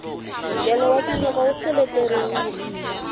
nkele wa tinyoka wu seleteriwile